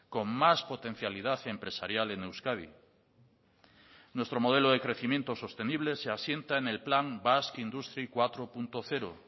con más potencialidad empresarial en euskadi nuestro modelo de crecimiento sostenible se asienta en el plan basque industry cuatro punto cero